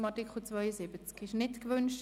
Das ist nicht der Fall.